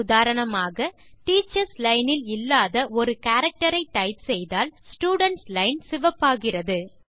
உதாரணமாக teachers line இல் இல்லாத ஒரு கேரக்டர் ஐ டைப் செய்தால் ஸ்டூடென்ட் லைன் சிவப்பாகிறது